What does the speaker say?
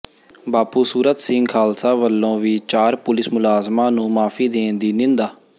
ਬਾਪੂ ਸੂਰਤ ਸਿੰਘ ਖ਼ਾਲਸਾ ਵਲੋਂ ਵੀ ਚਾਰ ਪੁਲਿਸ ਮੁਲਾਜ਼ਮਾਂ ਨੂੰ ਮਾਫ਼ੀ ਦੇਣ ਦੀ ਨਿੰਦਾ